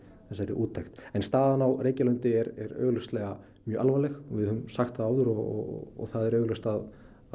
úttekt staðan á Reykjalundi er augljóslega mjög alvarleg og við höfum sagt það áður og það er augljóst að